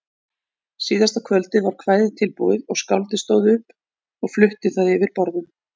Síðasta kvöldið var kvæðið tilbúið og skáldið stóð upp og flutti það yfir borðum.